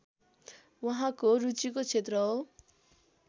उहाँको रुचिको क्षेत्र हो